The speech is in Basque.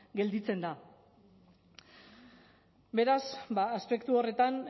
gelditzen da beraz aspektu horretan